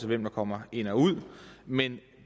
hvem der kommer ind og ud men